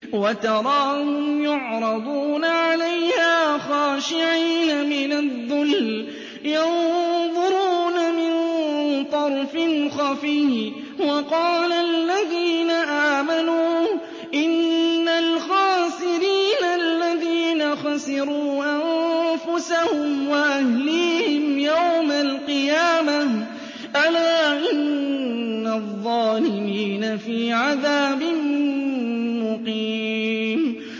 وَتَرَاهُمْ يُعْرَضُونَ عَلَيْهَا خَاشِعِينَ مِنَ الذُّلِّ يَنظُرُونَ مِن طَرْفٍ خَفِيٍّ ۗ وَقَالَ الَّذِينَ آمَنُوا إِنَّ الْخَاسِرِينَ الَّذِينَ خَسِرُوا أَنفُسَهُمْ وَأَهْلِيهِمْ يَوْمَ الْقِيَامَةِ ۗ أَلَا إِنَّ الظَّالِمِينَ فِي عَذَابٍ مُّقِيمٍ